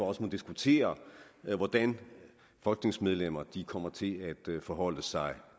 også diskutere hvordan folketingsmedlemmerne kommer til at forholde sig